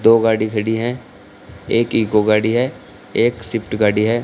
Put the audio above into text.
दो गाड़ी खड़ी है एक ही इको गाड़ी है एक स्विफ्ट गाड़ी है।